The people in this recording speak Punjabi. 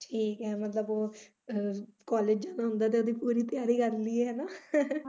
ਠੀਕ ਐ ਮਤਲਬ college ਜਾਣਾ ਹੁੰਦਾ ਤਾਂ ਉਹਦੀ ਪੂਰੀ ਤਿਆਰ ਕਰ ਲਈਏ ਹੈ ਨਾ?